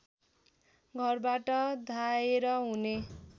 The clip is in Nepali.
घरबाट धाएर हुने